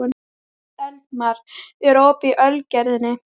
Eldmar, er opið í Ölgerðinni?